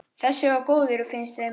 Þessi var góður, finnst þeim.